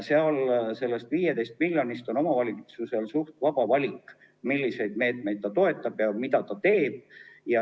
Selle 15 miljoni puhul on omavalitsusel vaba valik, milliseid meetmeid ta toetab ja mida ta teeb.